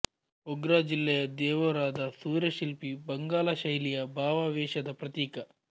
ಬೋಗ್ರಾ ಜಿಲ್ಲೆಯ ದೇವೋರಾದ ಸೂರ್ಯಶಿಲ್ಪ ಬಂಗಾಲ ಶೈಲಿಯ ಭಾವಾವೇಶದ ಪ್ರತೀಕ